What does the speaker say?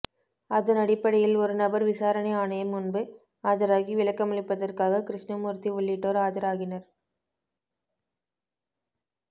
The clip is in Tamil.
அதனடிப்படையில் ஒருநபர் விசாரணை ஆணையம் முன்பு ஆஜராகி விளக்கமளிப்பதற்காக கிருஷ்ணமூர்த்தி உள்ளிட்டோர் ஆஜராகினர்